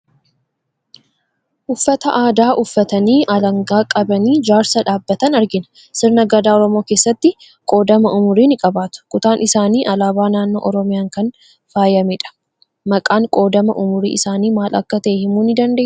Uffata aadaa uffatanii alangaa qabanii jaarsa dhaabbatan argina. Sirna Gadaa Oromoo keessatti qoodama umurii ni qabaatu. Kutaan isaanii alaabaa naannoo Oromiyaan kan faayamedha. Maqaan qoodama umurii isaanii maal akka ta'e himuu ni dandeessaa?